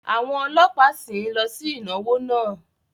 Àwọn ọlọ́pàá sìn ín lọ sí ìnáwó náà